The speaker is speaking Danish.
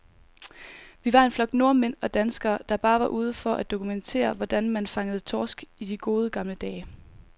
Vi var en flok nordmænd og danskere, der bare var ude for at dokumentere, hvordan man fangede torsk i de gode, gamle dage.